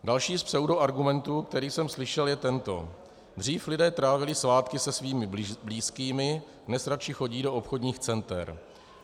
Další z pseudoargumentů, který jsem slyšel, je tento: Dřív lidé trávili svátky se svými blízkými, dnes radši chodí do obchodních center.